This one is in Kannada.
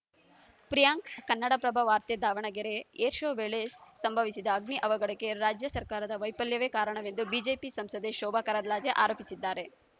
ಪ್ರಿಯಾಂಕ್‌ ಕನ್ನಡಪ್ರಭ ವಾರ್ತೆ ದಾವಣಗೆರೆ ಏರ್‌ ಶೋ ವೇಳೆ ಸಂಭವಿಸಿದ ಅಗ್ನಿ ಅವಘಡಕ್ಕೆ ರಾಜ್ಯ ಸರ್ಕಾರದ ವೈಫಲ್ಯವೇ ಕಾರಣವೆಂದು ಬಿಜೆಪಿ ಸಂಸದೆ ಶೋಭಾ ಕರಂದ್ಲಾಜೆ ಆರೋಪಿಸಿದ್ದಾರೆ